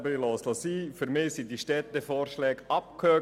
Für mich sind die Vorschläge der erwähnten Städte abgehakt;